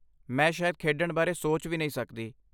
ਮੈਂ ਸ਼ਾਇਦ ਖੇਡਣ ਬਾਰੇ ਸੋਚ ਵੀ ਨਹੀਂ ਸਕਦੀ।